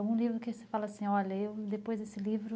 Algum livro que você fala assim, olha, eu depois desse livro